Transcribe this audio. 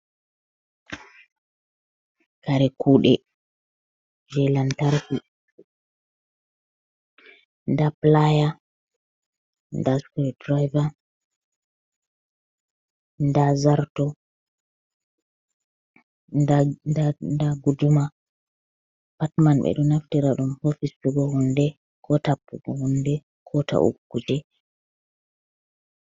Kare kuɗe je lantarki nda playa, nda stre driver, nda zarto, nda guduma, patt man ɓe ɗo naftira ɗum ha fistugo hunde ko tappugo hunde, ko taugo kuje.